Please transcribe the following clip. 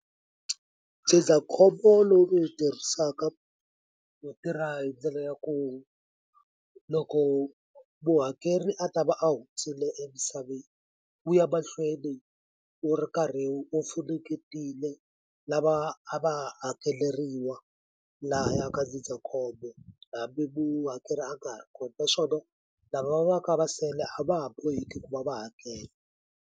Ndzindzakhombo lowu ni wu tirhisaka wu tirha hi ndlela ya ku loko muhakeri a ta va a hundzile emisaveni wu ya mahlweni wu ri karhi wu funengetile lava a va hakeleriwa lahaya ka ndzindzakhombo hambi muhakeri a nga ha ri kona naswona lava va va ka va sele a va ha boheki ku va va hakela.